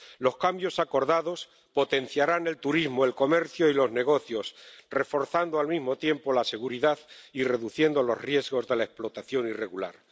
Los cambios acordados potenciarán el turismo, el comercio y los negocios, reforzando al mismo tiempo la seguridad y reduciendo los riesgos de la explotación irregular.